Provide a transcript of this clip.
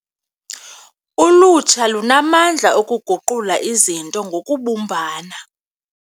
Ulutsha lunamandla okuguqula izinto ngokubumbana.